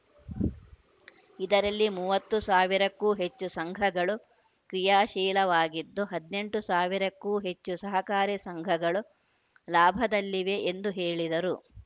ಇದರಲ್ಲಿ ಮೂವತ್ತು ಸಾವಿರಕ್ಕೂ ಹೆಚ್ಚು ಸಂಘಗಳು ಕ್ರಿಯಾಶೀಲವಾಗಿದ್ದು ಹದಿನೆಂಟು ಸಾವಿರಕ್ಕೂ ಹೆಚ್ಚು ಸಹಕಾರಿ ಸಂಘಗಳು ಲಾಭದಲ್ಲಿವೆ ಎಂದು ಹೇಳಿದರು